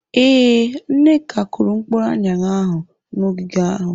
Ee, Nneka kụrụ mkpụrụ aṅara ahụ n'ogige ahụ.